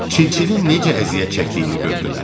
Çil-çilin necə əziyyət çəkdiyini gördülər.